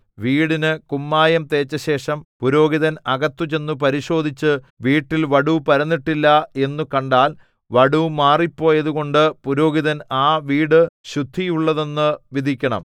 വീടിന് കുമ്മായം തേച്ചശേഷം പുരോഹിതൻ അകത്ത് ചെന്നു പരിശോധിച്ച് വീട്ടിൽ വടു പരന്നിട്ടില്ല എന്നു കണ്ടാൽ വടു മാറിപ്പോയതുകൊണ്ട് പുരോഹിതൻ ആ വീടു ശുദ്ധിയുള്ളത് എന്നു വിധിക്കണം